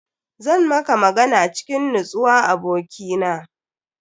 Zan maka magana cikin nutsuwa abokina.